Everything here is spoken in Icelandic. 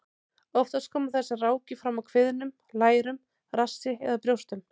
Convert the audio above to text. Oftast koma þessar rákir fram á kviðnum, lærum, rassi eða brjóstum.